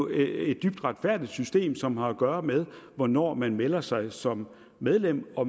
et dybt retfærdigt system som har at gøre med hvornår man melder sig ind som medlem og